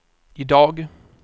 idag